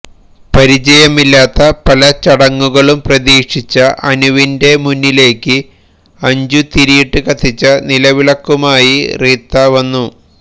പരിചയമില്ലാത്ത പല ചടങ്ങുകളും പ്രതീക്ഷിച്ച അനുവിന്റെ മുന്നിലേക്ക് അഞ്ചുതിരിയിട്ട് കത്തിച്ച നിലവിളക്കുമായി റീത്ത വന്നു